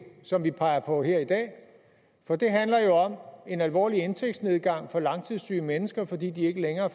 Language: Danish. som vi peger på her i dag for det handler jo om en alvorlig indtægtsnedgang for langtidssyge mennesker fordi de ikke længere